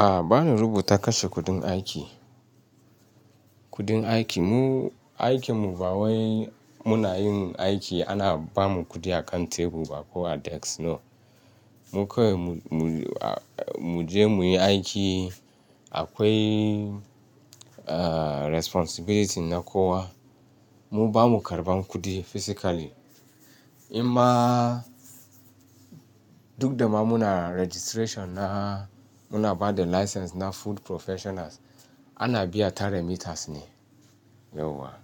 A'a bani rubuta kashe kuɗin aiki, kuɗin aiki. Mu aikin mu ba wai muna yin aiki ana bamu kuɗi akan tebur ba ko a desk. No. Mu kawai mu je muyi aiki akwai responsibility na kowa. Mu ba mu karɓan kuɗi physically. In ma duk da ma muna registration na muna ba da license na food professionals, ana biya ta remitas ne. Yauwa.